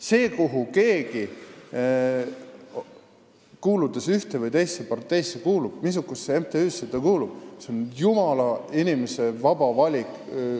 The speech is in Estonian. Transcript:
See, missugusesse MTÜ-sse keegi kuulub, kuuludes ka ühte või teisse parteisse, on iga inimese jumala vaba valik.